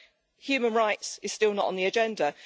But human rights is still not on the agenda.